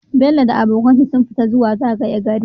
bello da abokan shi sun fita su zagaya gari